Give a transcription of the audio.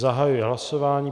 Zahajuji hlasování.